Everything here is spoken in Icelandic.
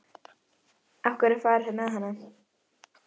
Af hverju var farið með hana?